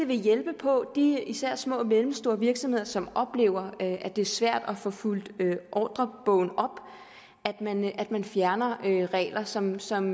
vil hjælpe på de især små og mellemstore virksomheder som oplever at det er svært at få fyldt ordrebogen op at man fjerner regler som som